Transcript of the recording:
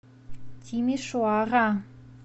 тимишоара